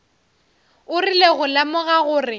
o rile go lemoga gore